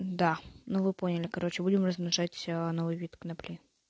да ну вы поняли короче будем размножать новый вид конопли